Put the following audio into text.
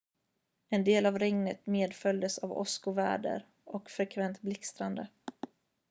en del av regnet medföljdes av åskoväder och frekvent blixtrande